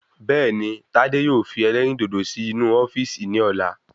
Bẹẹni tádé yóò fi elérìndòdò sì inú ofíìsì ni ọ̀la